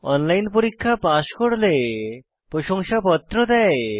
online পরীক্ষা pass করলে প্রশংসাপত্র দেয়